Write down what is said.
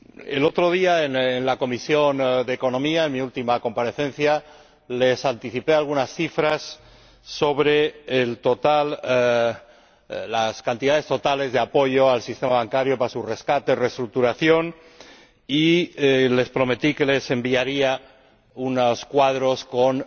El otro día, en la Comisión de Asuntos Económicos, en mi última comparecencia, les anticipé algunas cifras sobre las cantidades totales de apoyo al sistema bancario para su rescate y reestructuración, y les prometí que les enviaría unos cuadros con